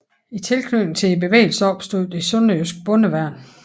I tilknytning til bevægelsen opstod det sønderjyske Bondeværnet